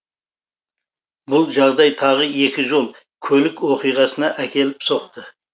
бұл жағдай тағы екі жол көлік оқиғасына әкеліп соқты